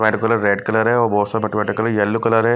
Colour red colour है और बहुत सारा बटे बटे कलर येलो कलर है।